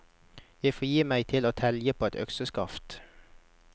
Jeg får gi meg til å telgje på et økseskaft.